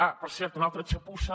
ah per cert una altra txapussa